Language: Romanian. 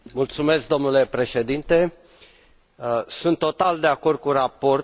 Domnule președinte, sunt total de acord cu raportul.